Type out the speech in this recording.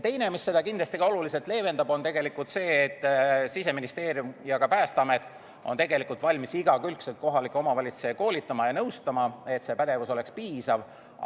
Teine asi, mis seda olukorda kindlasti oluliselt leevendab, on tegelikult see, et Siseministeerium ja Päästeamet on valmis igakülgselt kohalikke omavalitsusi koolitama ja nõustama, et see pädevus oleks piisav.